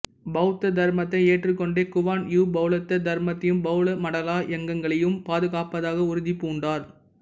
பௌத்த தர்மத்தை ஏற்றுக்கொண்ட குவான் யூ பௌத்த தர்மத்தையும் பௌத்த மடாலாயங்களையும் பாதுகாப்பதாக உறுதி பூண்டார்